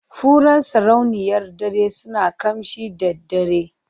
Furen sarauniyar dare suna ƙamshi da daddare.